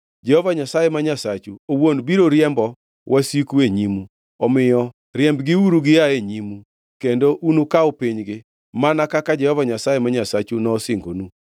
Jehova Nyasaye ma Nyasachu owuon biro riembo wasiku e nyimu. Omiyo riembgiuru gia e nyimu, kendo unukaw pinygi, mana kaka Jehova Nyasaye ma Nyasachu nosingonu.